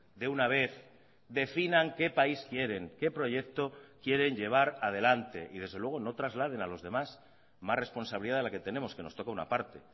de una vez definan qué país quieren qué proyecto quieren llevar adelante y desde luego no trasladen a los demás más responsabilidad de la que tenemos que nos toca una parte